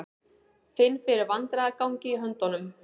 Finn fyrir vandræðagangi í höndunum.